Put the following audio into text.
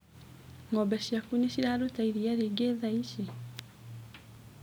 Ngombe ciaku nĩciraruta iria rĩingĩ thaici.